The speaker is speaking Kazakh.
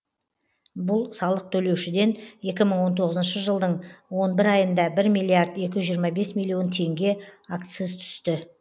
бұл салық төлеушіден екі мың он тоғызыншы жылдың он бір айында бір миллиард екі жүз жиырма бес миллион теңге акциз түсті